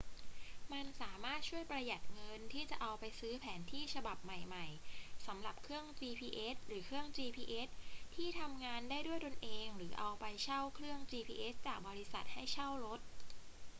มันสามารถช่วยประหยัดเงินที่จะเอาไปซื้อแผนที่ฉบับใหม่ ๆ สำหรับเครื่อง gps หรือเครื่อง gps ที่ทำงานได้ด้วยตัวเองหรือเอาไปเช่าเครื่อง gps จากบริษัทให้เช่ารถ